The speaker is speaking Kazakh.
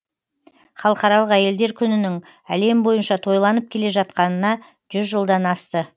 халықаралық әйелдер күнінің әлем бойынша тойланып келе жатқанына жүз жылдан асты